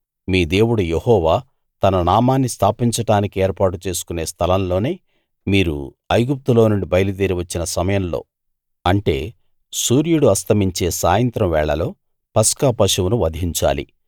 మీ దేవుడు యెహోవా తన నామాన్ని స్థాపించడానికి ఏర్పాటు చేసుకునే స్థలం లోనే మీరు ఐగుప్తులో నుండి బయలుదేరి వచ్చిన సమయంలో అంటే సూర్యుడు అస్తమించే సాయంత్రం వేళలో పస్కా పశువును వధించాలి